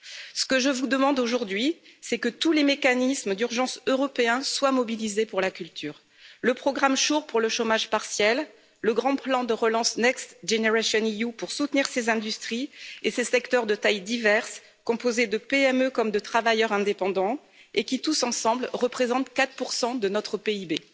Ce que je vous demande aujourd'hui, c'est que tous les mécanismes d'urgence européens soient mobilisés pour la culture le programme SURE pour le chômage partiel, le grand plan de relance Next Generation EU pour soutenir ses industries et ses secteurs de tailles diverses, composés de PME comme de travailleurs indépendants et qui tous ensemble représentent 4 de notre PIB.